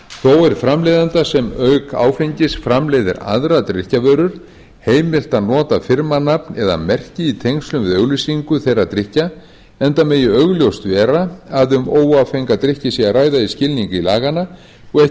þó er framleiðanda sem auk áfengis framleiðir aðrar drykkjarvörur heimilt að nota firmanafn eða merki í tengslum við auglýsingu þeirra drykkja enda megi augljóst vera að um óáfenga drykki sé að ræða í skilningi laganna og